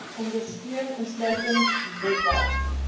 ondersteun insluitend webwerf